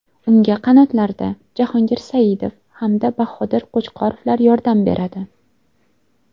Unga qanotlarda Jahongir Saidov hamda Bahodir Qo‘chqorovlar yordam beradi.